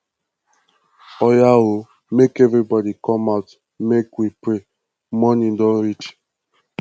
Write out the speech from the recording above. oya oo make everybody come out make we pray morning don reach